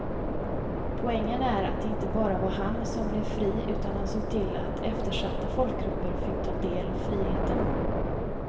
Poängen är att det inte bara var han som blev fri utan han såg till att eftersatta folkgrupper fick ta del av friheten.